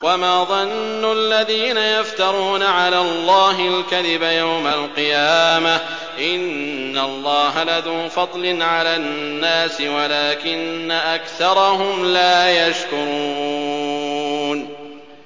وَمَا ظَنُّ الَّذِينَ يَفْتَرُونَ عَلَى اللَّهِ الْكَذِبَ يَوْمَ الْقِيَامَةِ ۗ إِنَّ اللَّهَ لَذُو فَضْلٍ عَلَى النَّاسِ وَلَٰكِنَّ أَكْثَرَهُمْ لَا يَشْكُرُونَ